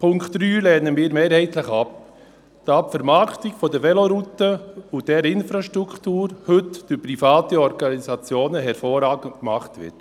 Die Ziffer 3 lehnen wir mehrheitlich ab, weil die Vermarktung der Velorouten und der Infrastruktur heute durch private Organisationen hervorragend gemacht wird.